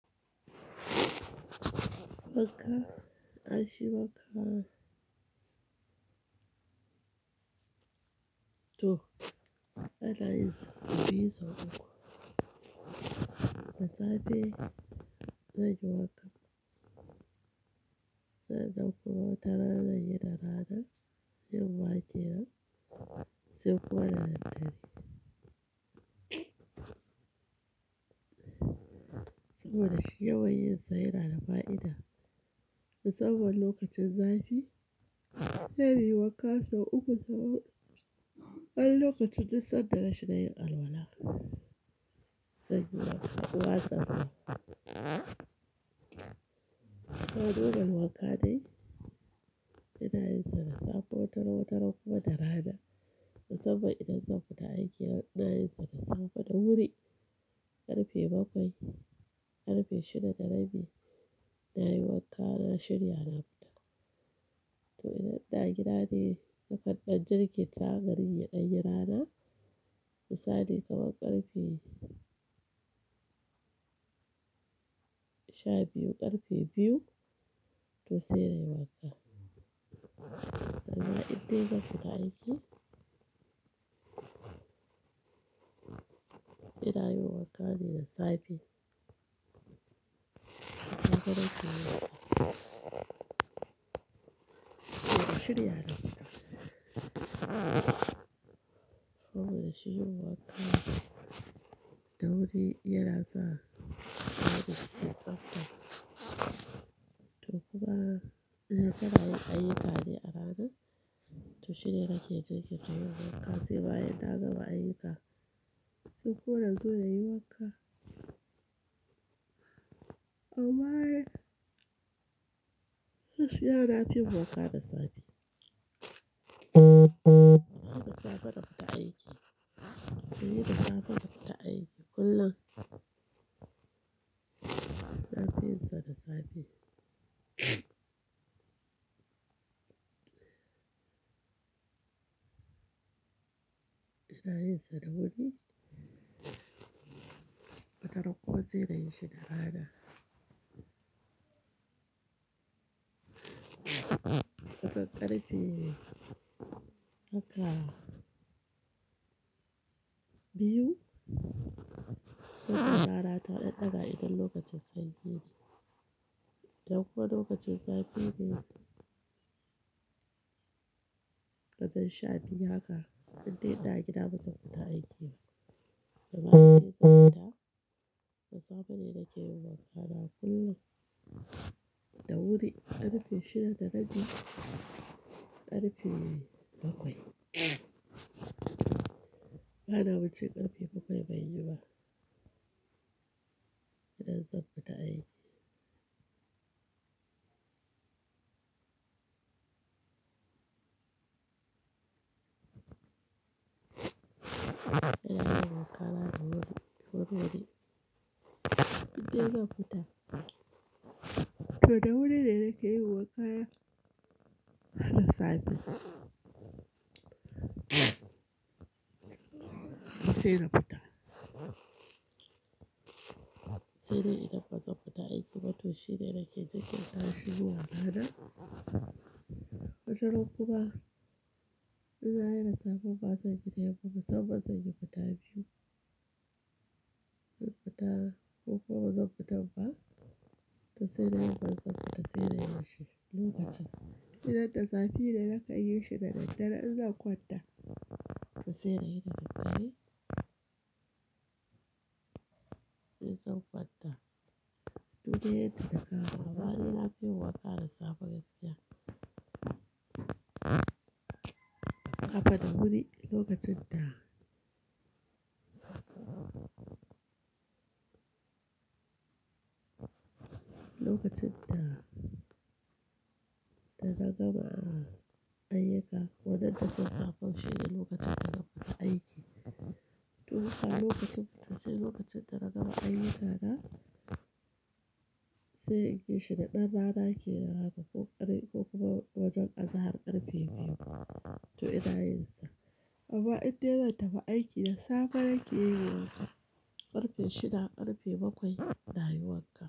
Waka, ashe waka. To, Anayinsa sau biyu sau uku. Da safe zan yi waka. Sai nannsn kuma wataran zanyi da rana, yammakenan saukowa sai kuma dadaddre saboda shi yawan yin sa yana da fa'ida. Musamman lokacin zafi, yayi yi waka sau uku da kullum. An lokacin dusar dare shida yayi alwala. Sai yayi waka uku wasan nan. To duka wakan ne, ina yin sa da safar tara, tara kuma da rana. Musamman idan zan fita aiki ina yin sa da safa da wuri karfe bakwai, karfe shida na rabi na yi waka na shirya na fita. To idan ɗa gida ne, na kaddan jirgin taga rinye ɗan yara na, misali kamar ƙarfe sha biyu ƙarfe biyu to sai nai wanka sai ma idan zan fita aiki, ina yi waka ne da safe. Na fara tafiya safe. To shiryayye na fita. Saboda shirin waka da wuri yana sa marigayi su tsabta. To kuma idan zanayi ayyuka ne a rana, to shine nake jin kiɗa yin waka sai bayan na gama ayyuka, sai amma gaskiya nafiyin waka da safe. Da safe zan fita aiki. Da safe zan fita aiki kullum. Na fi yin sa da safe. Ina yin sa da wuri. Watrankuma sai nayishi da rana. Wataran ƙarfe haka biyu. Sai kuma rana ta ɗan ɗaga idan lokacin sanyi ne, da kuwa lokacin zafi ne. Kadan sha biyu haka idan dai na gida bazan fita aiki ba. Gaba ɗaya zan fita. Da safe ne nake yi wa yara kullum. Da wuri ƙarfe shida na rabi, ƙarfe bakwai. Bana bacci ƙarfe bakwai ban yi ba. Idan zan fita aiki. Ina yi waka ranar gobe, gobe wuri. Idan dai zan fita. To da wuri ne nake yi wakaya, da safe. To sai na fita. Sai dai idan bazan fita aiki ba to shine nake jin kiɗa yin waka da. Bakar kuma in za a yi da safe bazan gida yamma ba saboda zan yi fita biyu. Zan fita, ko kuma bazan fita ba. To sai dai bazan fita sai dai yayi lokacin. Idan da safe ne na kai yin shida na dare in za kwanta. To sai dai ina yi dadaddare In zan kwanta. To dai yadda ka ga amma ina fi yi waka da safe gaskiya Safe da wuri lokacin da. Lokacin da, da na gama ayyuka. Wannan ta ce safar shida lokacin da na fita aiki. To kuma lokacin fita sai lokacin da na gama ayyukana, sai in gishida ɗan rana kenan haka ko ƙarin ko kuma wajen azahar ƙarfe biyu. To ina yin sa. Amma idan dai zan taɓa aiki da safe nake yi lokacin ƙarfe shida ƙarfe bakwai ina yi waka.